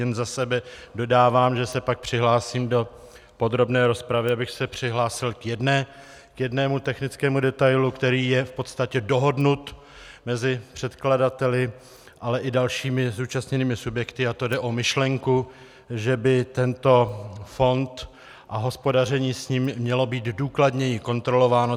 Jen za sebe dodávám, že se pak přihlásím do podrobné rozpravy, abych se přihlásil k jednomu technickému detailu, který je v podstatě dohodnut mezi předkladateli, ale i dalšími zúčastněnými subjekty, a to jde o myšlenku, že by tento fond a hospodaření s ním mělo být důkladněji kontrolováno.